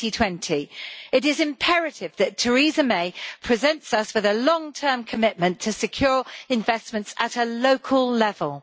2020. It is imperative that Theresa May presents us with a long term commitment to secure investments at a local level.